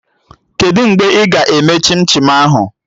Kedụ mgbe ị ga-eme chim chim ahụ?